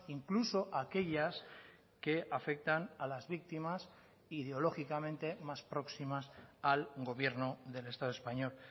incluso aquellas que afectan a las víctimas ideológicamente más próximas al gobierno del estado español